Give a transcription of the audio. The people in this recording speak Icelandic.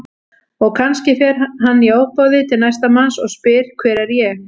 Og kannski fer hann í ofboði til næsta manns og spyr Hver er ég?